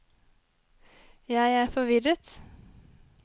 jeg er forvirret